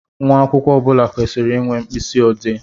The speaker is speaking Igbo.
Nwa akwụkwọ ọbula kwesịrị ịnwe mkpisi odee